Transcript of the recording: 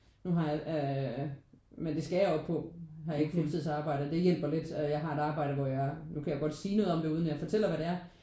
Nu har jeg ikke øh øh men det skal jeg jo på. Nu har jeg ikke fuldtidsarbejde og det hjælper lidt at jeg har et arbejde hvor jeg nu kan jeg godt sige noget om det uden at jeg fortæller hvad det er